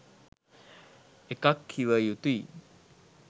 එකක් කිව යුතුයි